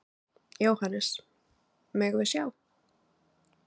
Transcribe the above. Jóhannes: Megum við sjá?